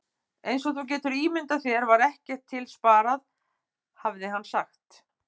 Eins og þú getur ímyndað þér var ekkert til sparað, hafði hann sagt.